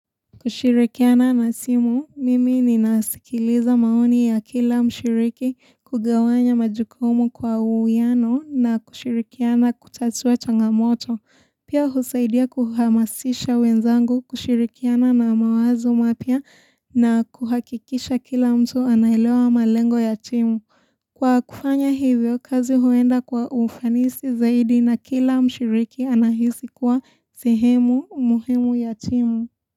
Kushirikiana na simu, mimi ninasikiliza maoni ya kila mshiriki, kugawanya majukumu kwa uwiano na kushirikiana kutatua changamoto. Pia husaidia kuhamasisha wenzangu kushirikiana na mawazo mapya na kuhakikisha kila mtu anaelewa malengo ya timu. Kwa kufanya hivyo, kazi huenda kwa ufanisi zaidi na kila mshiriki anahisi kuwa sehemu muhimu ya timu.